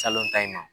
Salon ta in ma